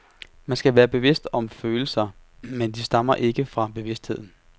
Man kan være bevidst om følelser, men de stammer ikke fra bevidstheden.